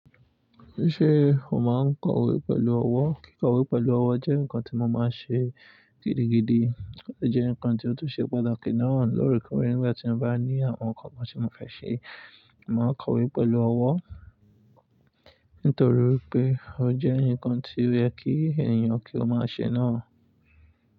Ṣé o máa ń kọwé pẹ̀lú ọwọ́? Kí kọwé pẹ̀lú ọwọ́ jẹ́ nǹkan tí mo máa ń ṣe gidigidi. Ọ̀ jẹ́ nǹkan tí ó tún ṣe pàtàkì náà lóreekòree Nígbà tí mo bá ní àwọn nǹkan kan tí mo fẹ́ ṣe, màá kọwé pẹ̀lú ọwọ́ nítorí pé ó jẹ́ ǹkan tí o yẹ̀ kí ènìyàn kí ó máa ṣe náà.